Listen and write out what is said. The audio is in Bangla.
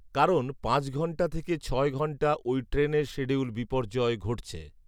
কারণ পাঁচ ঘণ্টা থেকে ছয় ঘণ্টা ওই ট্রেনের শিডিউল বিপর্যয় ঘটছে